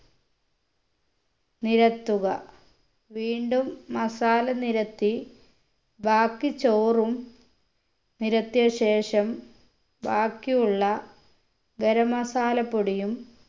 നിരത്തുക വീണ്ടും masala നിരത്തി ബാക്കി ചോറും നിരത്തിയ ശേഷം ബാക്കി ഉള്ള ഗരം masala പൊടിയും